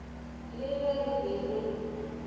le ge re be re